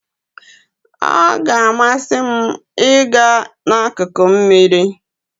Ọ ga-amasị m ịga na slaidi mmiri.